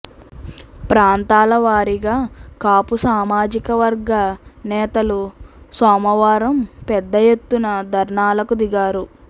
ప్రాంతాల వారీగా కాపు సామాజికవర్గ నేతలు సోమవారం పెద్ద ఎత్తున ధర్నాలకు దిగారు